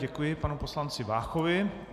Děkuji panu poslanci Váchovi.